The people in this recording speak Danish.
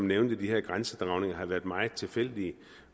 nævnte at de her grænsedragninger har været sådan meget tilfældige